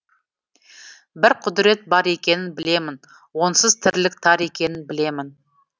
бір құдірет бар екенін білемін онсыз тірлік тар екенін білемін